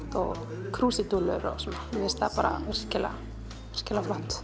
krúsídúllur og svona mér finnst það virkilega flott